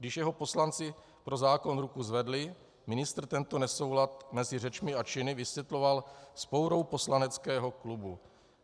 Když jeho poslanci pro zákon ruku zvedli, ministr tento nesoulad mezi řečmi a činy vysvětloval vzpourou poslaneckého klubu.